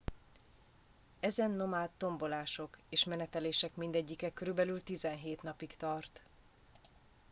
ezen nomád tombolások és menetelések mindegyike körülbelül 17 napig tart